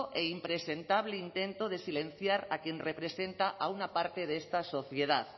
e impresentable intento de silenciar a quien representa a una parte de esta sociedad